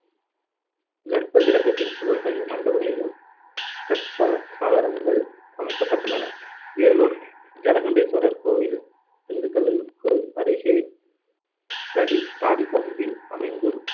கர்ப்பகிரகத்தின் சுவர்களில் மண்டபங்களிலும் கற்சா~ சாளரங்கள் அமைக்கப்பட்டுள்ளன. வேலூர் ஜலகண்டேஸ்வரர் கோவில், திண்டுக்கல்லுக்கு அருகே தடி~ தாடிக்கொம்பில் அமைந்து